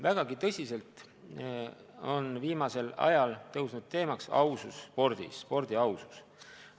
Vägagi tõsiselt on viimasel ajal tõusnud teemaks ausus spordis, spordi ausus.